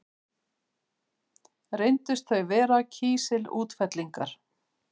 Reyndust þau vera kísilútfellingar.